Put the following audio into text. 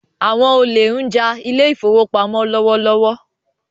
Àwọn olè ń ja ile-ìfowópamó lọwọlọwọ